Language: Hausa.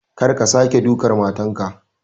Kar ka sake ka duka matar ka!